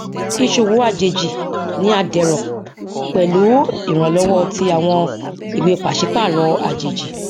ìṣowó àjèjì ni a dẹrọ pẹlú ìrànlọwọ ti àwọn ìwé pàṣípààrọ àjèjì